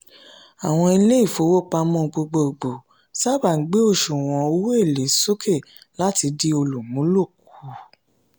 àwọn ilé ìfowópamọ́ gbogboogbò ńsáábà gbé òṣùwọ̀n owó-èlé sókè láti dín olùmúlò kù.